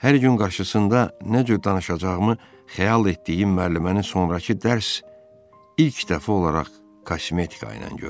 Hər gün qarşısında nə cür danışacağımı xəyal etdiyim müəlliməni sonrakı dərs ilk dəfə olaraq kosmetika ilə gördüm.